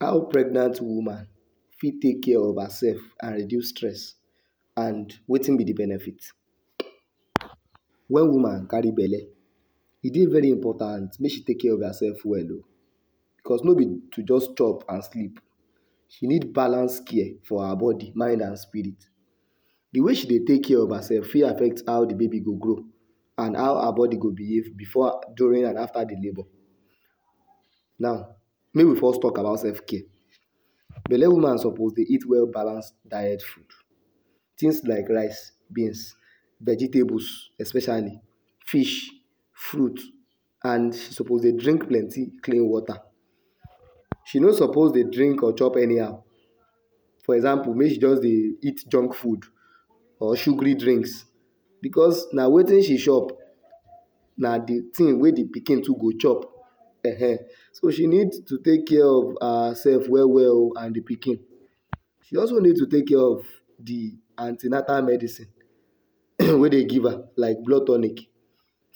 How pregnant woman fit take care of her self and reduce stress and wetin be de benefit when woman carry belle e Dey very important make she take care of herself well oo because no be to just chop and sleep she need balance care for her body mind and spirit de way she Dey take care of herself fit affect how de baby go grow and how her body go behave before during and after the labour now make we first talk about self care belle woman suppose Dey eat well balance diet food things like rice beans vegetables especially fish fruits and she suppose Dey drink plenty clean water she no suppose Dey drink or chop anyhow for example make she just Dey eat junk food or sugary drinks because na wetin she chop na de tin wey de pikin to go chop ehen so she needs to take care of herself well well oo and de pikin she also needs to take care of de anti natal medicine wey Dey give her like blood tonic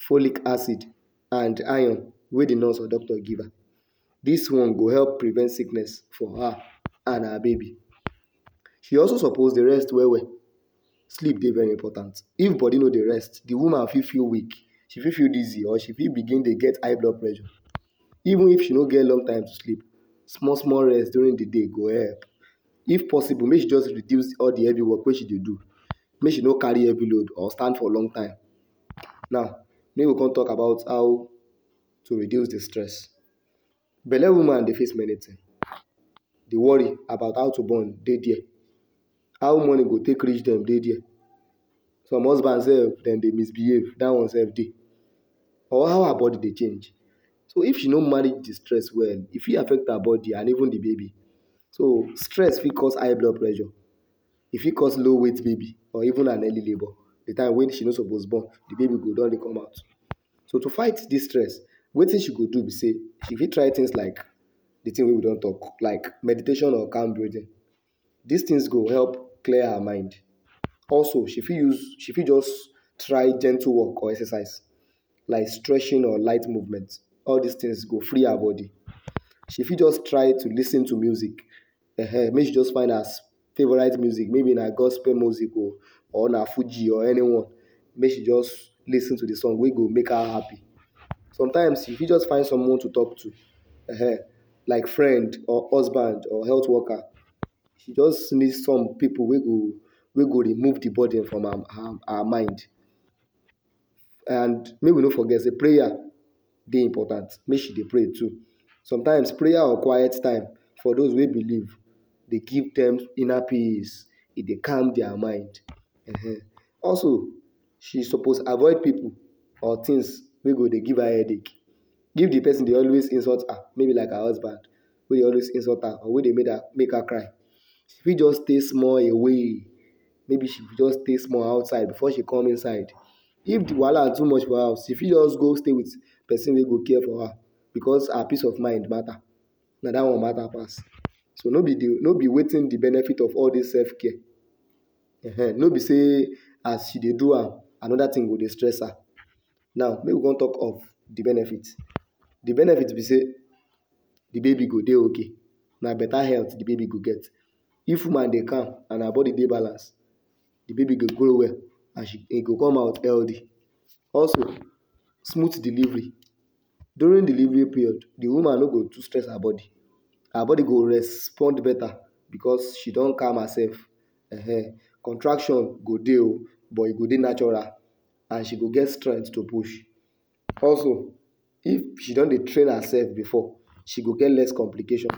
folic acid and iron wey De nurse or doctor give her dis one go help prevent sickness for her and her baby she also suppose Dey rest well well sleep Dey very important if body no Dey rest de woman fit feel weak she fit feel dizzy and she fit begin Dey get high blood pressure even if she no get long time to sleep small small rest during de day go help if possible make she just reduce all de heavy work wey she Dey do make she no carry heavy load or stand for long time now make we Come talk about how to reduce de stress belle woman Dey face many tin de worry about how to born Dey dia how money go take reach dem Dey dia some husband sef dem Dey misbehave dat one sef Dey or how her body Dey change so if she no manage de stress well e fit affect her body and even de baby so stress fit cause high blood pressure e fit cause low weight baby or even an early labor de time wey she no suppose Dey born de baby go done Dey commot so to fight this stress wetin she go do b say she fit try things like de tin wey we don talk things like meditation of Dis things go help clear her mind also she fit use she fit just try gentle work or exercise like stretching or light movement all dis things go free her body she fit just try to lis ten to music ehen make she just find her favorite music maybe na gospel music or na fugi or anyone make she just lis ten to de song wey go make her happy sometimes she fit just find someone to talk to ehen like friend or husband or health worker she just meet some pipu wey go remove de burden from her mind and make we no forget say prayer Dey important make she Dey pray too sometimes prayer or quite time for does wey believe Dey give dem inner peace e Dey calm dia mind ehen also she suppose avoid pipu or things wey go Dey give her headache if de person Dey always insult her maybe like her husband wey Dey always insult her or make her cry she fit just stay small away maybe she go just stay small outside before she comes inside if de wahala too much for her she fit just go stay with person wey go care for her because her peace of mind matters na dat one matter pass so no be wetin de benefit of all dis self care ehen no be say as she Dey do am another tin go Dey stress her now make we con talk of Dey benefit de benefit b say de baby go Dey okay na better health de baby go get if woman Dey calm and her body Dey balance de baby go grow well and im go come out healthy also smooth delivery during delivery period de woman no go too stress her body her body go respond better because she don calm herself ehen contraction go Dey ooo but e go Dey natural and she go get strength to push also if she don Dey train her self before she go get less complications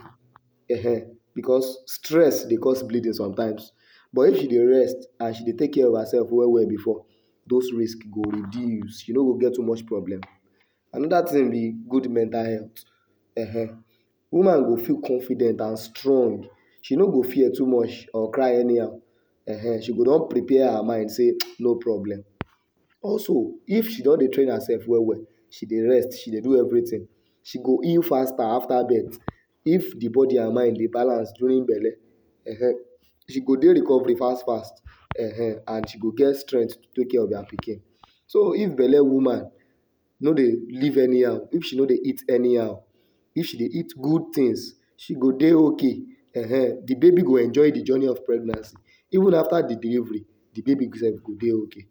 ehen because stress Dey cause bleeding sometimes but if she Dey rest and she Dey take care of herself well well before dose risk go reduce she no go get too much problem another tin be good mental health ehen woman go fit confident and strong she no go fear too much or cry anyhow ehen she go don prepare her mind say tsss no problem also if she don Dey train herself well well she Dey rest she Dey do everything so go heal faster after birth if de body and mind Dey balance during belle ehen she go Dey recovery fast fast ehen and she go get strength to take care of herself well pikin so if belle woman no Dey live anyhow If she no Dey eat anyhow if she Dey eat good tins she go Dey okay ehen de baby go enjoy de journey of pregnancy even after de delivery de baby sef go Dey okay